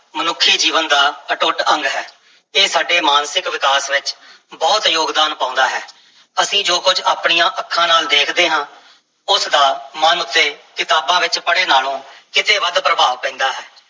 ਮਨੁੱਖੀ ਜੀਵਨ ਦਾ ਅਟੁੱਟ ਅੰਗ ਹੈ, ਇਹ ਸਾਡੇ ਮਾਨਸਿਕ ਵਿਕਾਸ ਵਿੱਚ ਬਹੁਤ ਯੋਗਦਾਨ ਪਾਉਂਦਾ ਹੈ, ਅਸੀਂ ਜੋ ਕੁਝ ਆਪਣੀਆਂ ਅੱਖਾਂ ਨਾਲ ਦੇਖਦੇ ਹਾਂ, ਉਸ ਦਾ ਮਨ ਉੱਤੇ ਕਿਤਾਬਾਂ ਵਿੱਚ ਪੜ੍ਹੇ ਨਾਲੋਂ ਕਿਤੇ ਵੱਧ ਪ੍ਰਭਾਵ ਪੈਂਦਾ ਹੈ।